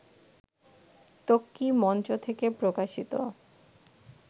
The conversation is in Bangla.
ত্বকী মঞ্চ থেকে প্রকাশিত